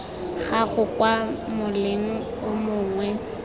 gago kwa moleng o mongwe